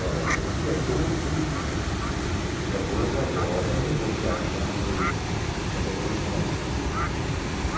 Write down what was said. Olha o dia doze, o dia doze agora agora, eu estou viajando para Belo Horizonte.